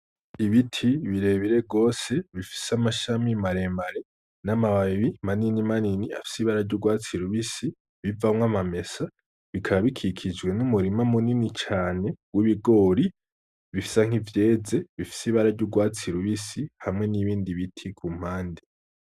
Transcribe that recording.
Ibiti birebire rwose bifise amashami 'maremare n'amababi manini manini afise ibararya urwatsi i lubisi bivamwo amamesa bikaba bikikijwe n'umurima munini cane w'ibigori bifisa nk'ivyeze bifise ibararya urwatsi lubisi hamwe n'ibindi biti ku mpandi.